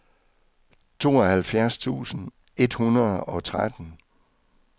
tooghalvfjerds tusind et hundrede og tretten